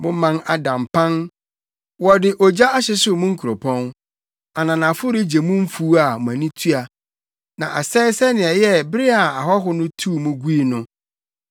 Mo man ada mpan, wɔde ogya ahyehyew mo nkuropɔn; ananafo regye mo mfuw a mo ani tua, na asɛe sɛnea ɛyɛɛ bere a ahɔho tuu mo gui no.